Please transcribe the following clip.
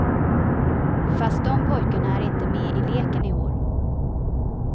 Fast de pojkarna är inte med i leken i år.